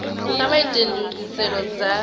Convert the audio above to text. kha vha ite ndugiselo dza